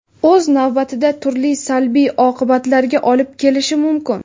o‘z navbatida turli salbiy oqibatlarga olib kelishi mumkin.